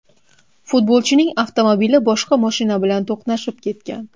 Futbolchining avtomobili boshqa mashina bilan to‘qnashib ketgan.